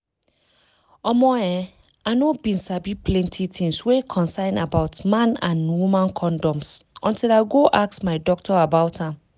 omo[um]i no bin sabi plenty tins wey concern about man and woman condoms until i go ask my doctor about am